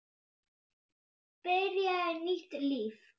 Byrjaði nýtt líf.